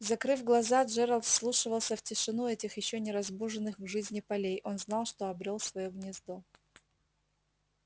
закрыв глаза джералд вслушивался в тишину этих ещё не разбуженных к жизни полей он знал что обрёл своё гнездо